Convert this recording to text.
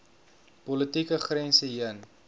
politieke grense heen